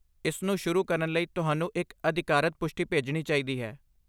ਇਸ ਨੂੰ ਸ਼ੁਰੂ ਕਰਨ ਲਈ ਤੁਹਾਨੂੰ ਇੱਕ ਅਧਿਕਾਰਤ ਪੁਸ਼ਟੀ ਭੇਜਣੀ ਚਾਹੀਦੀ ਹੈ।